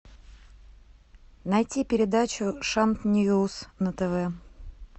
найти передачу шант ньюс на тв